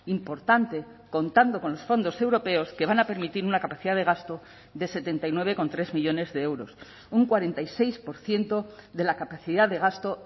importante contando con los fondos europeos que van a permitir una capacidad de gasto de setenta y nueve coma tres millónes de euros un cuarenta y seis por ciento de la capacidad de gasto